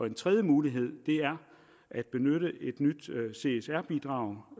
en tredje mulighed er at benytte et nyt csr bidrag